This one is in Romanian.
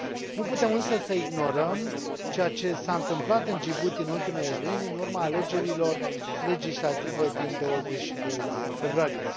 Nu putem însă să ignorăm ceea ce s a întâmplat în Djibouti în ultimele luni, în urma alegerilor legislative din 22 februarie.